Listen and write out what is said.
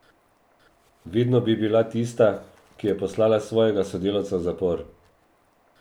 Vedno bi bila tista, ki je poslala svojega sodelavca v zapor.